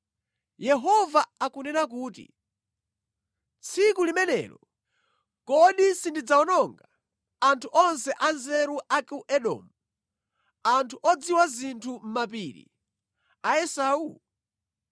Yehova akunena kuti, “Tsiku limenelo, kodi sindidzawononga anthu onse anzeru a ku Edomu, anthu odziwa zinthu mʼmapiri a Esau?